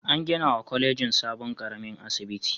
An ginawa kwalejin sabon ƙaramin asibiti.